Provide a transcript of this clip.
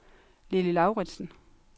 Lilly Lauritzen